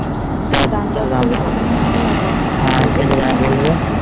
হ্যাঁ দাম টা তো মেনে নিতেই হবে এখানে যেটা দাম বলবে